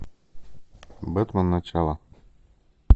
бэтмен начало